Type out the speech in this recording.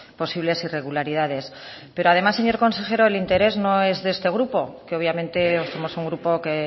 posibles irregularidades pero además señor consejero el interés no es de este grupo que obviamente somos un grupo que